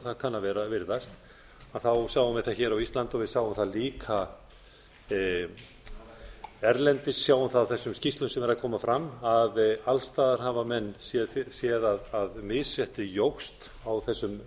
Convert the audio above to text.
það kann að virðast þá sjáum við það á íslandi og við sáum það líka erlendis við sjáum það á þessum skip sem eru að koma fram að alls staðar hafa menn séð fyrir sér að misréttið jókst á þessum